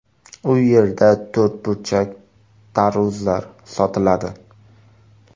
U yerda to‘rtburchak tarvuzlar sotiladi.